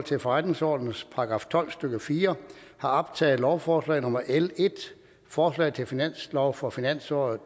til forretningsordenens § tolv stykke fire har optaget lovforslag nummer l en forslag til finanslov for finansåret